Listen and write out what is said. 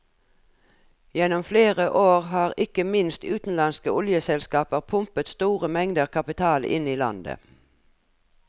Gjennom flere år har ikke minst utenlandske oljeselskaper pumpet store mengder kapital inn i landet.